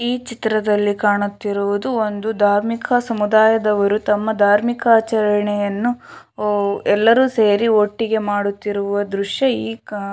ಈ ಚಿತ್ರದಲ್ಲಿ ಕಾಣುತ್ತಿರುವುದು ಒಂದು ಧಾರ್ಮಿಕ ಸಮುದಾಯದವರು ತಮ್ಮ ಧಾರ್ಮಿಕ ಆಚರಣೆಯನ್ನು ಎಲ್ಲರೂ ಸೇರಿ ಒಟ್ಟಿಗೆ ಮಾಡುತ್ತಿರುವ ದೃಶ್ಯ ಈ ಕಾ --